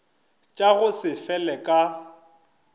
tša go se fele ka